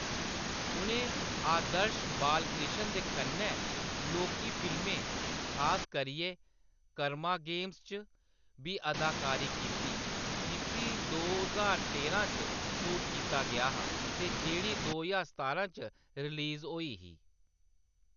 उʼनें आदर्श बालकृष्ण दे कन्नै लौह्‌‌की फिल्में, खास करियै कर्मा गेम्स च बी अदाकारी कीती, जिसी दो ज्हार तेरां च शूट कीता गेआ हा ते जेह्‌‌ड़ी दो ज्हार सतारां च रिलीज होई ही।